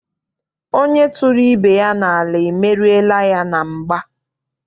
Onye tụrụ ibe ya n'ala, emeriela ya na mgba.